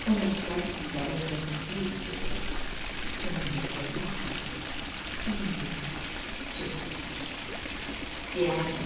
O məktəb illərim dönsəydi geri, önündə hörmətlə indi çöküb diz, deyərdim: